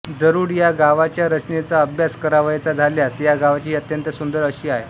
जरुड या गावाच्या रचनेचा अभ्यास करावयाचा झाल्यास या गावाची ही अत्यंत सुंदर अशी आहे